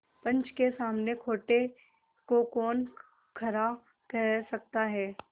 पंच के सामने खोटे को कौन खरा कह सकता है